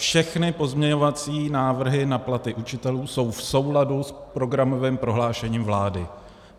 Všechny pozměňovací návrhy na platy učitelů jsou v souladu s programovým prohlášením vlády.